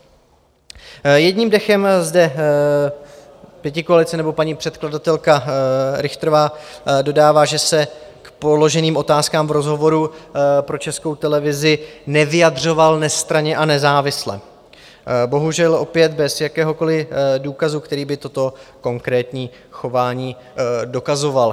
Jedním dechem zde pětikoalice nebo paní předkladatelka Richterová dodává, že se k položeným otázkám v rozhovoru pro Českou televizi nevyjadřoval nestranně a nezávisle, bohužel opět bez jakéhokoliv důkazu, který by toto konkrétní chování dokazoval.